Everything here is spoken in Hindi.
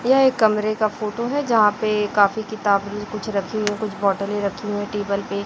यह एक कमरे का फोटो है जहाँ पे काफी किताब कुछ रखी हुई है कुछ बोटले रखी है टेबल पे --